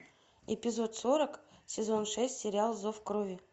эпизод сорок сезон шесть сериал зов крови